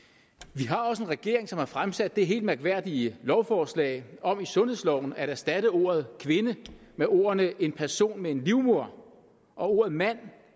vi har også en regering som har fremsat det helt mærkværdige lovforslag om i sundhedsloven at erstatte ordet kvinde med ordene en person med en livmoder og ordet mand